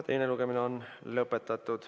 Teine lugemine on lõpetatud.